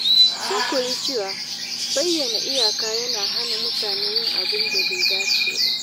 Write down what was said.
Sun koyi cewa bayyana iyaka yana hana mutane yin abin da bai dace ba.